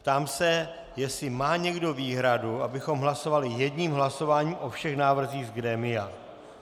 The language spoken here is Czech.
Ptám se, jestli má někdo výhradu, abychom hlasovali jedním hlasováním o všech návrzích z grémia.